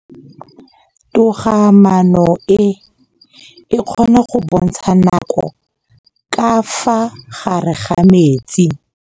Toga-maanô e, e kgona go bontsha nakô ka fa gare ga metsi.